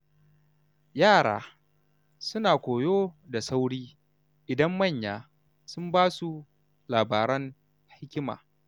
Yara suna koyo da sauri idan manya sun basu labaran hikima.